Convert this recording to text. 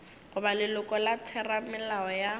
goba leloko la theramelao ya